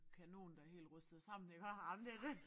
Kanon der er helt rustet sammen iggå jamen det det